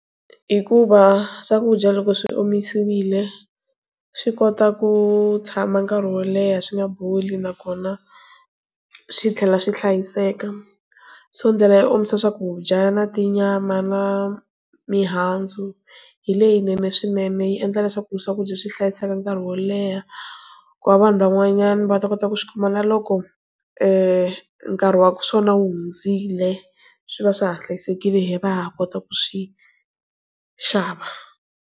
Hikuva swakudya loko swi omisiwile swi kota ku tshama nkarhi wo leha swi nga boli nakona swi tlhela swi hlayiseka so ndlela yo omisa swakudya na ti nyama na mihandzu hi leyinene swinene yi endla leswaku swakudya swi hlayiseka nkarhi wo leha ku va vanhu van'wanyana va ta kota ku swi kuma na loko nkarhi wa swona wu hundzile swi va swa ha hlayisekile hi va ha kota ku swi xava.